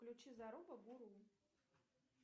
включи заруба гуру